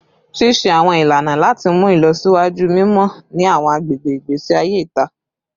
Ṣiṣe awọn ilana lati mu ilọsiwaju mimọ ni awọn agbegbe igbesi aye ita